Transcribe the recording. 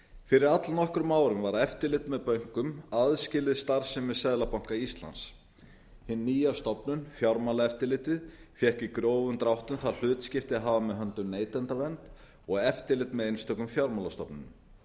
fyrir all nokkrum árum var eftirlit með bönkum aðskilið starfsemi seðlabanka íslands hin nýja stofnun fjármálaeftirlitið fékk í grófum dráttum það hlutskipti að hafa með höndum neytendavernd og eftirlit með einstökum fjármálastofnunum